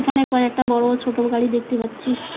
এখানে কয়েকটা বড়ো ও ছোট গাড়ি দেখতে পাচ্ছি।